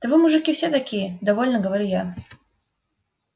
да вы мужики все такие довольно говорю я